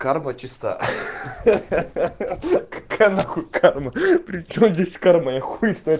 карма чиста ха-ха какая на хуй карма причём здесь карма я хуй знает